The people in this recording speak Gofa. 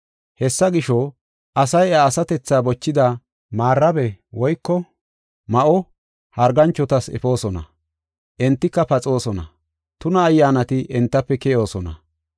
Hessa gisho, asay iya asatethaa bochida maarabe woyko ma7o harganchotas efoosona. Entika paxoosona; tuna ayyaanati entafe keyoosona.